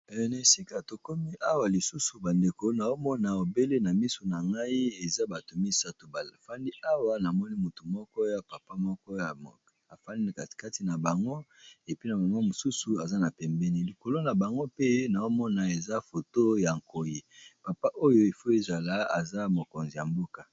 Eh na esika tokomi awa lisusu ba ndeko naomona obele na miso na ngai eza bato misato ba fandi awa namoni motu moko ya papa moko afandi na katikati na bango epi na mama mosusu aza na pembeni likolo na bango mpe na omona eza foto ya nkoi papa oyo efo ezala aza mokonzi ya mboka.